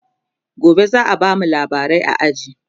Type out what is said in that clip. gobe zaa bamu labarai a aji